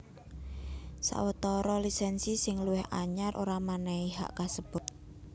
Sawetara lisènsi sing luwih anyar ora mènèhi hak kasebut